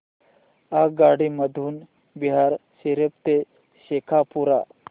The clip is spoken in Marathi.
आगगाडी मधून बिहार शरीफ ते शेखपुरा